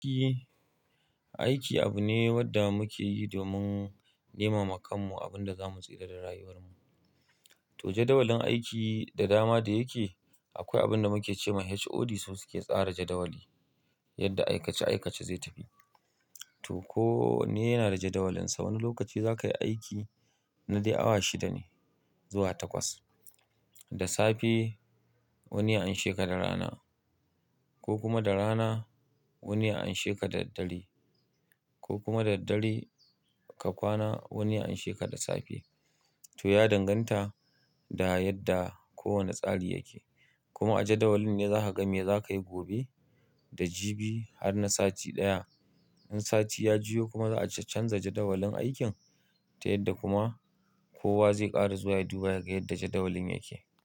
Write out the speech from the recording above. Eh, aiki abu ne wanda muke yi domin neman makanmu abun da zamu tsira da rayuwar mu. To jadawalin aiki da dama da yake akwai abin da muke ce ma HOD su suke tsara jadawali yadda aikace aikace zai tafi. To ko wanne yana da jadawalinsa wani lokaci za ka yi aiki na dai awa shida ne zuwa takwas da safe wani ya an sheka da rana ko kuma da rana wani ya an sheka da daddare ko kuma da daddare ka kwana wani an sheka da safe to ya danganta da yadda kowane tsari yake. Kuma a jadawalin ne za ka ga me za ka yi gobe da jibi har na sati ɗaya. In sati ya jiyo kuma za a canza jadawalin aikin ta yadda kuma kowa zai ƙara zuwa ya duba yaga yadda jadawalin yake.